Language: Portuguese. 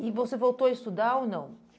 E você voltou a estudar ou não?